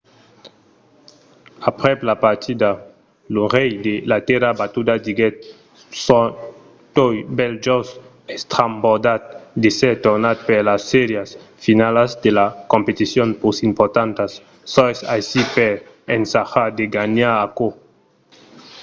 aprèp la partida lo rei de la tèrra batuda diguèt soi tot bèl just estrambordat d'èsser tornat per las sèrias finalas de las competicions pus importantas. soi aicí per ensajar de ganhar aquò.